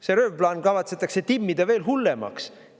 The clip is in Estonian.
See röövplaan kavatsetakse timmida veel hullemaks.